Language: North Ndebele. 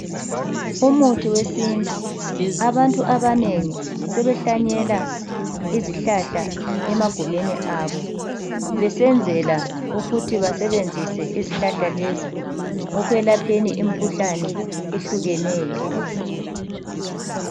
Umuthi wesintu, abantu abanengi sebehlanyela izihlahla emagumeni abo. Besenzela ukuthi basebenzise izihlahla lezi ekwelapheni imikhuhlane ehlukeneyo.